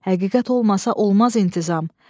Həqiqət olmasa olmaz intizam.